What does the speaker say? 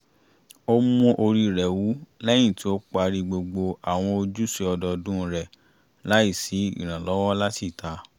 ó mú orí rẹ̀ wú lẹ́yìn tí ó parí gbogbo àwọn ojúṣe ọdọọdún rẹ̀ láì sí ìrànlọ́wọ́ láti ìta